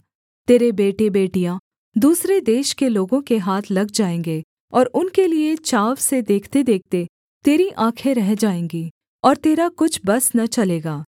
तेरे बेटेबेटियाँ दूसरे देश के लोगों के हाथ लग जाएँगे और उनके लिये चाव से देखतेदेखते तेरी आँखें रह जाएँगी और तेरा कुछ बस न चलेगा